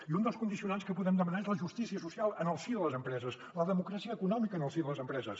i un dels condicionants que podem demanar és la justícia social en el si de les empreses la democràcia econòmica en el si de les empreses